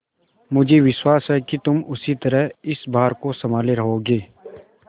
मुझे विश्वास है कि तुम उसी तरह इस भार को सँभाले रहोगे